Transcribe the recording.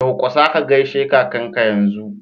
Durƙusa ka gaishe kakanka yanzu!!